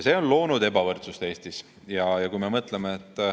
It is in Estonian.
See on loonud Eestis ebavõrdsust.